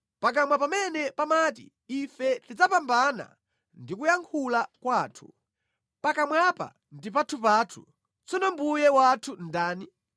Pakamwa pamene pamati, “Ife tidzapambana ndi kuyankhula kwathu; pakamwapa ndi pathupathu, tsono mbuye wathu ndani?”